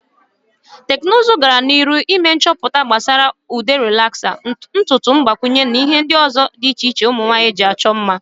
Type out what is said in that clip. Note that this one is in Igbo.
Teknuzu gana n"iru ime nchoputa gbasara ude relaksa, ntutu ngbakwunye na ihe ndi uzo di iche iche umunwanyi ji acho mma.